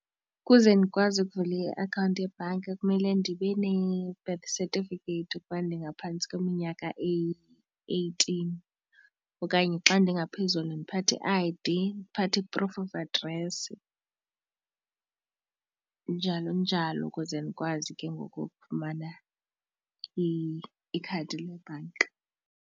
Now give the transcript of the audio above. Ukuze ndikwazi ukuvula iakhawunti yebhanki kumele ndibene-birth certificate ukuba ndingaphantsi kweminyaka eyi-eighteen okanye xa ndingaphezulu ndiphathe i-I_D ndiphathe i-proof of address njalo njalo, ukuze ndikwazi ke ngoku ukufumana ikhadi lebhanka.